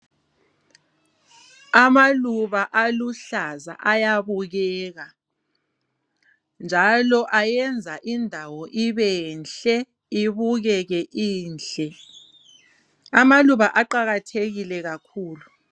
Amaluba aluhlaza ayabukeka, njalo ayenza indawo ibenhle ibukeke inhle. Amaluba aqakathekile kakhulu.